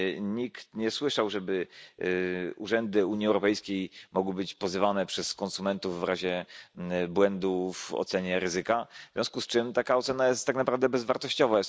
Nikt nie słyszał, żeby urzędy Unii Europejskiej mogły być pozywane przez konsumentów w razie błędów w ocenie ryzyka, w związku z czym taka ocena jest tak naprawdę bezwartościowa.